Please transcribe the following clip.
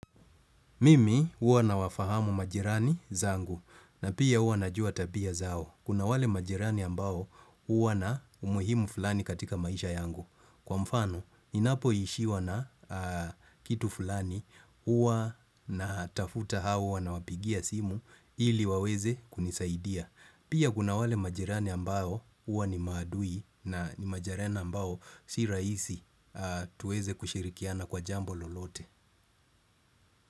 Mimi huwa nawafahamu majirani zangu na pia huwa najua tabia zao. Kuna wale majirani ambao uwa na umuhimu fulani katika maisha yangu. Kwa mfano, ninapoishiwa na kitu fulani uwa na tafuta au huwa nawapigia simu ili waweze kunisaidia. Pia kuna wale majirani ambao uwa ni maadui na majerena ambao si rahisi tuweze kushirikiana kwa jambo lolote.